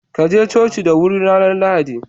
Kaje coci da huri ranar lahadi.